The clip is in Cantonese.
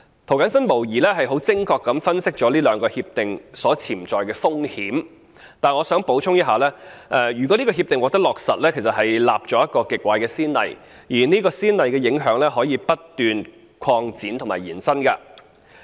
涂謹申議員無疑是很精確地分析了這兩項協定的潛在風險。但是，我想補充一點：如果這項協定獲得落實，將會立下一個極壞的先例，而這個先例的影響還可以不斷擴展及延伸。